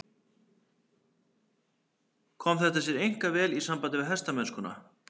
Kom þetta sér einkar vel í sambandi við hestamennskuna.